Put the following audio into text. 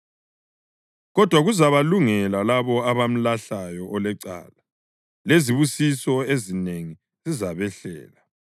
Kodwa kuzabalungela labo abamlahlayo olecala, lezibusiso ezinengi zizabehlela.